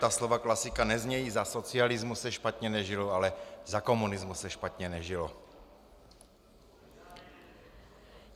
Ta slova klasika neznějí za socialismu se špatně nežilo, ale za komunismu se špatně nežilo.